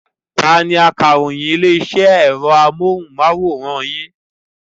Ta ni akaròyìn ilé-iṣẹ́ ẹ̀rọ amóhùmáwòhán yín?